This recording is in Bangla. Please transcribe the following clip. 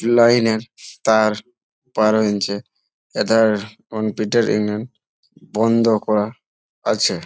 লাইন এর তার বারো ইঞ্চি এটার বন্ধ করা আছে ।